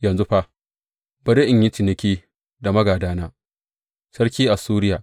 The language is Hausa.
Yanzu fa, bari in yi ciniki da maigidana, sarki Assuriya.